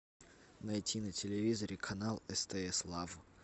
найти на телевизоре канал стс лав